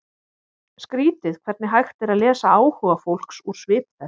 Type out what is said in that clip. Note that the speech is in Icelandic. Skrýtið hvernig hægt er að lesa áhuga fólks úr svip þess.